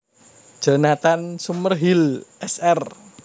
Jonathan Summerhill Sr